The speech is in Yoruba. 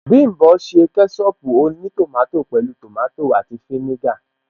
Bím̀bọ́ ṣe kẹ́ṣọpù ó ní tòmátò pẹ̀lú tòmátò àti fínígà